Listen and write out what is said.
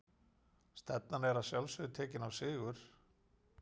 Stefnan að sjálfsögðu tekinn á sigur?